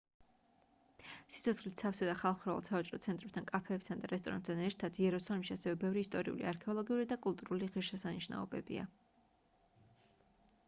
სიცოცხლით სავსე და ხალხმრავალ სავაჭრო ცენტრებთან კაფეებთან და რესტორნებთან ერთად იერუსალიმში ასევე ბევრი ისტორიული არქეოლოგიური და კულტურული ღირსშესანიშნაობებია